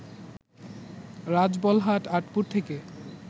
রাজবলহাট, আঁটপুর থেকে